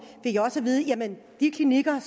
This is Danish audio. fik jeg også at vide at de klinikker